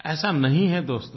ऐसा नहीं है दोस्तो